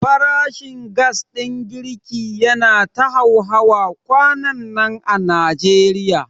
Farashin gas ɗin girki yana ta hauhawa kwanannan a Najeriya.